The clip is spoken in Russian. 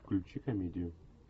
включи комедию